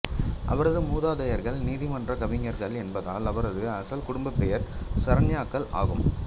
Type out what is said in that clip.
அவரது மூதாதையர்கள் நீதிமன்ற கவிஞர்கள் என்பதால் அவரது அசல் குடும்ப பெயர் சரண்யாக்கள் ஆகும்